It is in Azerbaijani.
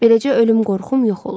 Beləcə ölüm qorxum yox olur.